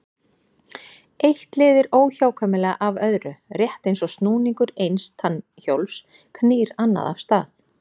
Eitt leiðir óhjákvæmilega af öðru, rétt eins og snúningur eins tannhjóls knýr annað af stað.